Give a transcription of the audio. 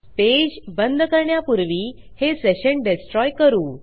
page बंद करण्यापूर्वी हे सेशन destroyकरू